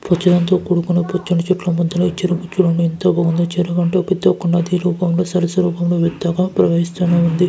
పచ్చదనం తో కూడుకున్న పచ్చని చెట్ల మద్యన చెరువు చూడండి యెంత బాగుందో చెరువు అంటే ఓ పెద్ద కొండ రూపం లో సరస రూపం లో ప్రవహిస్తునే ఉంది.